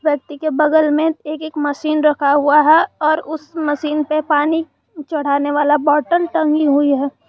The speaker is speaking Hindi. व्यक्ति के बगल में एक एक मशीन रखा हुआ है और उस मशीन पे पानी चढ़ाने वाला बोतल टंगी हुई है।